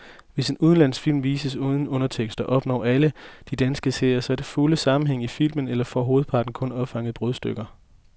Hvis en udenlandsk film vises uden undertekster, opnår alle de danske seere så den fulde sammenhæng i filmen eller får hovedparten kun opfanget brudstykker.